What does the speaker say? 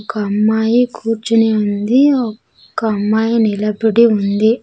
ఒక అమ్మాయి కూర్చుని ఉంది ఒక అమ్మాయి నిలబడి ఉంది.